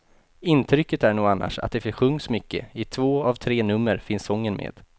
Intrycket är nog annars att det sjungs mycket, i två av tre nummer finns sången med.